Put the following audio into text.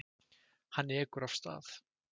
Hann ekur af stað.